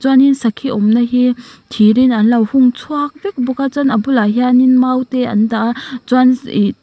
chuanin sakhi awmna hi thir in anlo hung chhuak vek bawk a chuan a bulah hianin mau te an dah a chuan ihh--